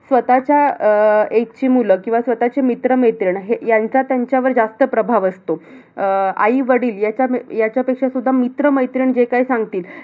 स्वतःच्या अह age ची मुलं किंवा स्वतःचे मित्र-मैत्रिणी हे ह्यांचा त्यांच्यावर जास्त प्रभाव असतो. अह आई-वडील ह्याचा ह्याच्यापेक्षा सुद्धा मित्र-मैत्रीण जे काही सांगतील,